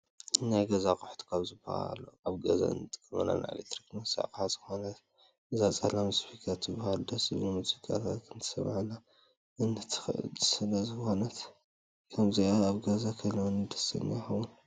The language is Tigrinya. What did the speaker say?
ናይ ገዛ ኣቁሑት ካብ ዝበሃሉ ኣብ ገዛ እንጥቀመላ ናይ ኤሌክትሮኒክስ ኣቅሓ ዝኮነት እዚኣ ፀላም ስፒከር ትበሃል። ደስ ዝብሉ ሙዚቃታት ክተስመዐና እትክእል ስለዝኖነት ከምዚኣ ኣብ ገዛይ ክህልወኒ ደስተኛ ይከውን።